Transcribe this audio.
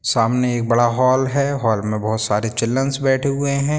सामने एक बड़ा हॉल है हॉल मे बहुत सारी चिल्ड्रेंस बैठे हुए है।